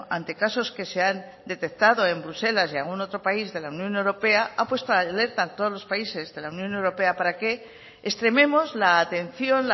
ante casos que se han detectado en bruselas y en algún otro país de la unión europea ha puesto alerta a todos los países de la unión europea para que extrememos la atención